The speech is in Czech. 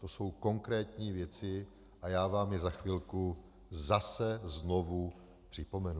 To jsou konkrétní věci a já vám je za chvilku zase znovu připomenu.